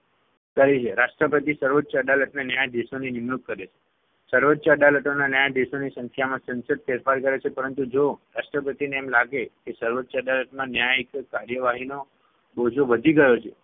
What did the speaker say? કરી છે રાષ્ટ્રપતિ સર્વોચ્ય અદાલતના ન્યાયાધીશોની નિમણુક કરે છે. સર્વોચ્ય અદાલતોના ન્યાયાધીશોની સંખ્યામાં સંસદ ફેરફાર કરે છે પરંતુ જો રાષ્ટ્રપતિને એમ લાગે કે સર્વોચ્ય અદાલતમાં ન્યાયિક કાર્યવાહીનો બોજો વધી ગયો છે